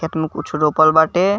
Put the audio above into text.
एकनो कुछ रोपल बाटे।